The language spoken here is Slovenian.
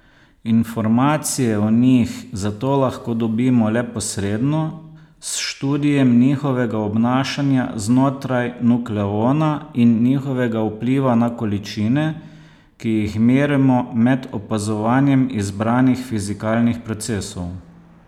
Informacije o njih zato lahko dobimo le posredno, s študijem njihovega obnašanja znotraj nukleona in njihovega vpliva na količine, ki jih merimo med opazovanjem izbranih fizikalnih procesov.